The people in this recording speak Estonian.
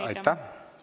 Aitäh!